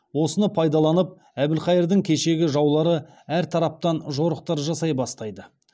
осыны пайдаланып әбілқайырдың кешегі жаулары әр тараптан жорықтар жасай бастайды